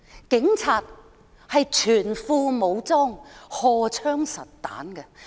警察是全副武裝、荷槍實彈的。